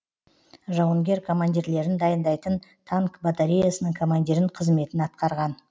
жауынгер командирлерін дайындайтын танк батареясының командирін қызметін атқарған